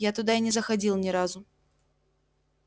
я туда и не заходил ни разу